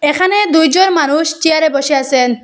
এখানে দুইজন মানুষ চেয়ারে বসে আসেন ।